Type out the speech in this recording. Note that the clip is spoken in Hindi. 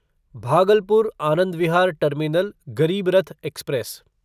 Bhagalpur Anand Vihar terminal Garib Rath express